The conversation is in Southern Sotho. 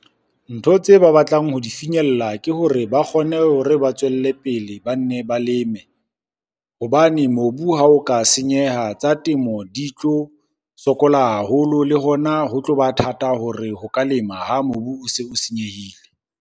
Ntho tse ba batlang ho di finyella ke hore ba kgone hore ba tswelle pele ba nne ba leme. Hobane mobu ha o ka senyeha, tsa temo di tlo sokola haholo le hona ho tloba thata hore ho ka lema ha mobu o se o senyehile.